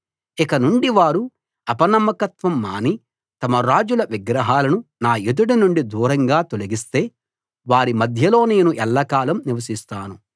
ఇకనుండి వారు అపనమ్మకత్వం మాని తమ రాజుల విగ్రహాలను నా ఎదుట నుండి దూరంగా తొలగిస్తే వారి మధ్యలో నేను ఎల్లకాలం నివసిస్తాను